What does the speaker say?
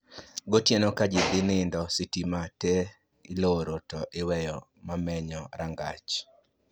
Gotieno ka ji dhi nindo, sitima te iloro to iweyo mamenyo rangach